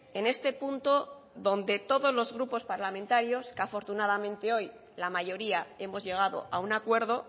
en este punto donde todos los grupo parlamentarios que afortunadamente hoy la mayoría hemos llegado a un acuerdo